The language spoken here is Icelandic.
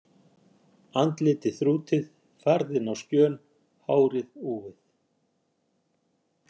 Andlitið þrútið, farðinn á skjön, hárið úfið.